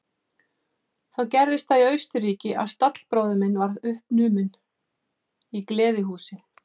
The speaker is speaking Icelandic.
Þá gerðist það í Austurríki að stallbróðir minn varð uppnuminn í gleðihúsi.